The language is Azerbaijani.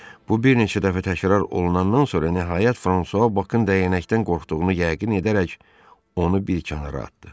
Bu bir neçə dəfə təkrar olunandan sonra nəhayət Fransua Bakın dəyənəkdən qorxduğunu yəqin edərək onu bir kənara atdı.